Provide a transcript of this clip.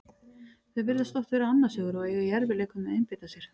Þau virðast oft vera annars hugar og eiga í erfiðleikum með að einbeita sér.